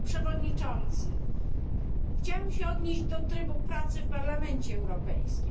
Panie przewodniczący! Chciałam się odnieść do trybu pracy w Parlamencie Europejskim.